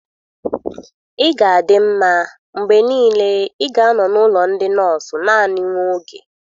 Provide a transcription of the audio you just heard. Ị ga-adị mma, mgbe niile, ị ga-anọ n'ụlọ ndị nọọsụ naanị nwa oge